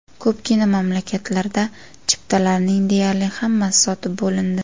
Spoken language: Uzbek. Ko‘pgina mamlakatlarda chiptalarning deyarli hammasi sotib bo‘lindi.